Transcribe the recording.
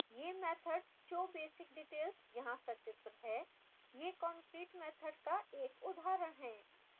यह method showbasicdetails यहाँ सचित्र है यह concrete मैथड का एक उदाहरण है